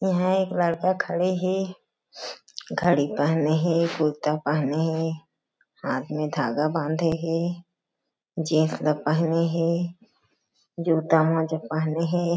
यहाँ एक लड़का खड़े हे घड़ी पहने हे कुर्ता पहने हे हाँथ में धागा बांधे हे जीन्स ल पहने हे जूता मोजा पहने हे।